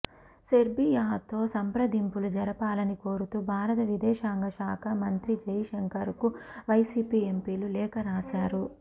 సెర్బియాతో సంప్రదింపులు జరపాలని కోరుతూ భారత విదేశాంగశాఖ మంత్రి జైశంకర్ కు వైసీపీ ఎంపీలు లేఖ రాశారు